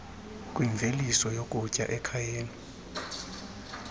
kwimveliso yokutya ekhayeni